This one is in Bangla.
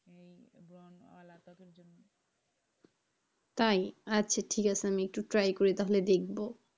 তাই আচ্ছা ঠিক আছে আমি একটু try করে তাহলে দেখব।